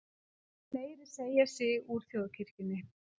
Fleiri segja sig úr þjóðkirkjunni